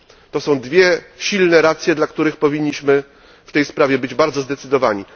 To są dwie silne racje, dla których powinniśmy w tej sprawie być bardzo zdecydowani.